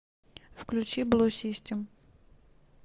включи блу систем